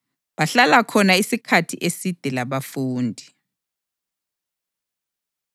Bahlala khona isikhathi eside labafundi.